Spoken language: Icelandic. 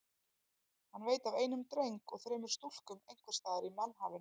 Hann veit af einum dreng og þremur stúlkum einhvers staðar í mannhafinu.